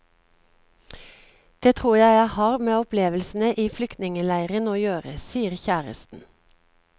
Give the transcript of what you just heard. Det tror jeg har med opplevelsene i flyktningeleiren å gjøre, sier kjæresten.